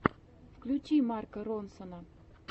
включи марка ронсона